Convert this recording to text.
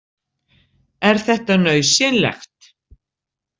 Er þetta nauðsynlegt?